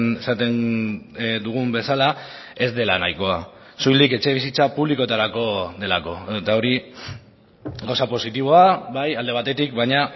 esaten dugun bezala ez dela nahikoa soilik etxebizitza publikoetarako delako eta hori gauza positiboa bai alde batetik baina